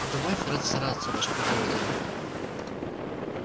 добавь рад стараться ваше благородие